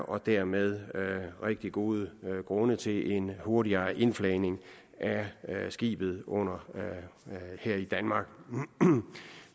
og dermed rigtig gode grunde til en hurtigere indflagning af skibet her i danmark